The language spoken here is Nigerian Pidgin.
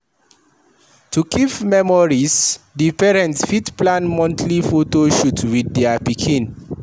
To keep memories, di parents fit plan monthly photo shoot with their pikin